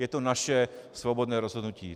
Je to naše svobodné rozhodnutí.